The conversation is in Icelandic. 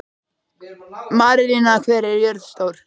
Marinella, hvað er jörðin stór?